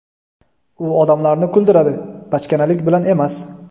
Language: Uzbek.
U odamlarni kuldiradi, bachkanalik bilan emas.